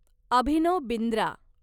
Abhinav Bindra